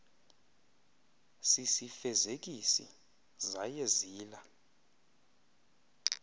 sisifezekisi zaye zila